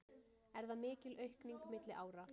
Er það mikil aukning milli ára